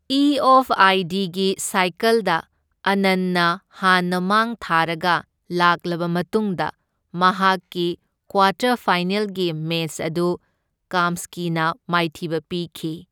ꯏꯑꯣꯐꯑꯥꯏꯗꯤꯒꯤ ꯁꯥꯏꯀꯜꯗ ꯑꯥꯅꯟꯅ ꯍꯥꯟꯅ ꯃꯥꯡ ꯊꯥꯔꯒ ꯂꯥꯛꯂꯕ ꯃꯇꯨꯡꯗ ꯃꯍꯥꯛꯀꯤ ꯀ꯭ꯋꯥꯇꯔ ꯐꯥꯏꯅꯦꯜꯒꯤ ꯃꯦꯆ ꯑꯗꯨ ꯀꯥꯝꯁ꯭ꯀꯤꯅ ꯃꯥꯏꯊꯤꯕ ꯄꯤꯈꯤ꯫